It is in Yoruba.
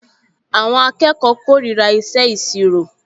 Àwọn akẹ́kọ̀ọ kórìíra ìṣe ìṣirò